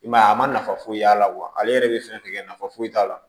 I m'a ye a ma nafa foyi y'a la ale yɛrɛ be fɛn fɛn kɛ nafa foyi t'a la